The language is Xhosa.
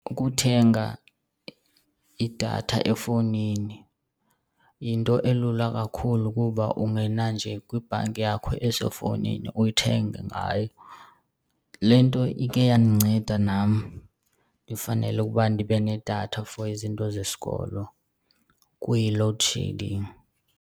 Ukuthenga idatha efowunini yinto elula kakhulu kuba ungena nje kwibhanki yakho esefowunini uyithenge ngayo. Le nto ike yandinceda nam ndifanele ukuba ndibe nedatha for izinto zesikolo kuyi-load shedding.